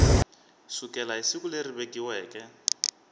sukela hi siku leri vekiweke